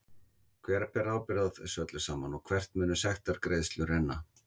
Hver ber ábyrgð á þessu öllu saman og hvert munu sektargreiðslur renna?